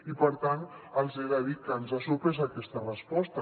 i per tant els he de dir que ens ha sorprès aquesta resposta